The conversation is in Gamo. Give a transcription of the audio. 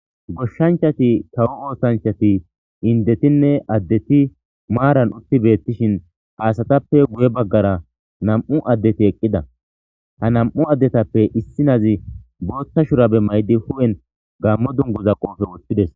goshshanchati tawo oosanchati indetinne addeti maaran utti beettishin aasatappe guye baggara nam7u addeti eqqida ha nam7u addetappe issi nazi boothta shurabe maydi hu7en gammo dunguza qoofe wothtides